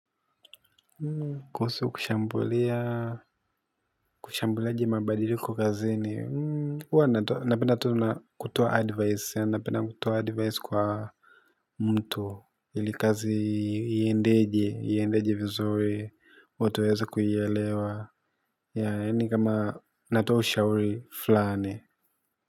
Kuhusu kushambulia kushambuilaji mabadili kazini huwa napenda tu na kutuoa advice ya napenda kutuoa advice kwa mtu ili kazi iendeje vizuri watu waweze kuielewa yaani kama natoa ushauri fulani.